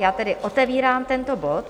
Já tedy otevírám tento bod.